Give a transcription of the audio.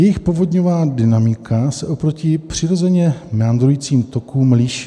Jejich povodňová dynamika se oproti přirozeně meandrujícím tokům liší.